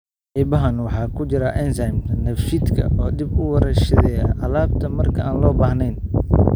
Qaybahan waxaa ku jira enzymes dheefshiidka oo dib u warshadeeya alaabta marka aan loo baahnayn.